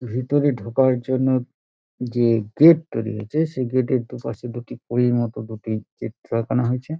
ভেতরে ঢোকার জন্য যে গেট তৈরী হয়েছে সে গেট -এর দুপাশে দুটি পরীর মতো দুটি চিত্র আকানো হয়েছে |